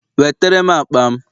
Wetere m akpa m